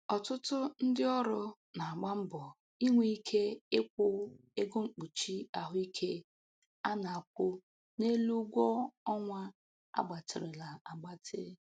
Ọtụtụ ndị ọrụ na-agba mbọ inwe ike ịkwụ ego mkpuchi ahụike a na-akwụ n'elu ụgwọ ọnwa a gbatịrịla agbatị.